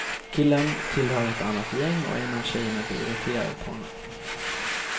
Killen tillhör ett annat gäng och en av tjejerna blir irriterad på honom.